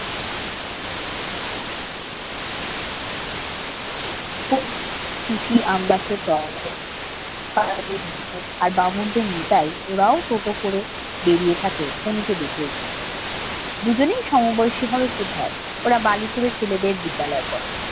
কুমু টুশি আম গাছের তলায় আর বামুনদের নিতাই ওরাও টোটো করে বেরিয়ে থাকে কুমুকে দেখলেই হয় দুজনেই সমবয়সী হয় ওরা বারুইপুরের ছেলেদের বিদ্যালয়ে পড়ে।